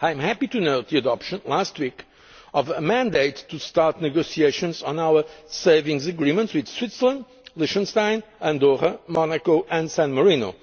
I am happy to note the adoption, last week, of a mandate to start negotiations on our savings agreements with Switzerland, Liechtenstein, Andorra, Monaco and San Marino,